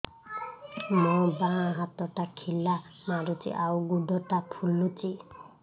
ମୋ ବାଆଁ ହାତଟା ଖିଲା ମାରୁଚି ଆଉ ଗୁଡ଼ ଟା ଫୁଲୁଚି